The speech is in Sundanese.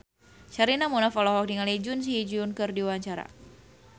Sherina Munaf olohok ningali Jun Ji Hyun keur diwawancara